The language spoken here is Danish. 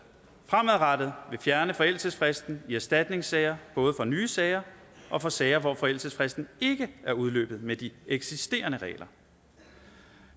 fremadrettet ville fjerne forældelsesfristen i erstatningssager både for nye sager og for sager hvor forældelsesfristen ikke er udløbet med de eksisterende regler